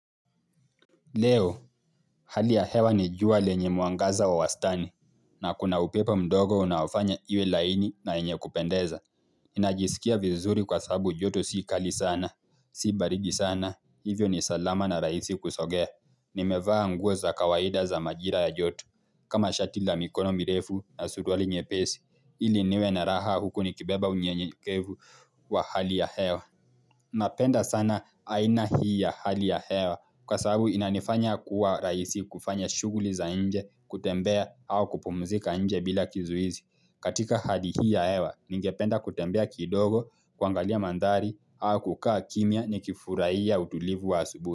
Leo, hali ya hewa ni jua lenye mwangaza wa wastani, na kuna upepo mdogo unaofanya iwe laini na enye kupendeza. Inajisikia vizuri kwa sabu joto sii kali sana, sii baridi sana, hivyo ni salama na rahisi kusogea. Nimevaa nguo za kawaida za majira ya joto, kama shati la mikono mirefu na suruali nyepesi, ili niwe na raha huku ni kibeba unyenyekevu wa hali ya hewa. Napenda sana aina hii ya hali ya hewa kwa sababu inanifanya kuwa rahisi kufanya shughuli za nje kutembea au kupumzika nje bila kizuizi. Katika hali hii ya hewa ningependa kutembea kidogo kwangalia mandhari au kukaa kimya ni kifurahia ya utulivu wa asubuhi.